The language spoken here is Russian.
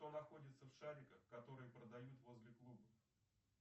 что находится в шариках которые продают возле клубов